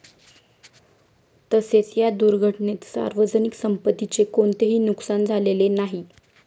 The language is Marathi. तसेच या दुर्घटनेत सार्वजनिक संपत्तीचे कोणतेही नुकसान झालेले नाही.